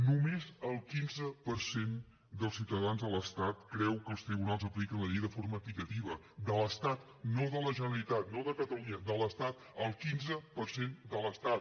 només el quinze per cent dels ciutadans de l’estat creu que els tribunals apliquen la llei de forma equitativa de l’estat no de la generalitat no de catalunya de l’estat el quinze per cent de l’estat